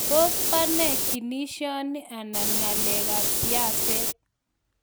Tos banee kinishanii -anan ng'alek ab siaset